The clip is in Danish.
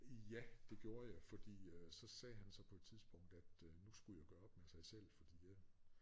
Ja det gjorde jeg fordi øh så sagde han så på et tidspunkt at øh nu skulle jeg gøre op med sig selv fordi at